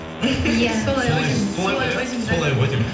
иә солай ғой деймін